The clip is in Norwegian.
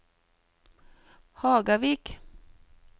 Hagavik